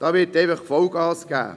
Es wird einfach Vollgas gegeben.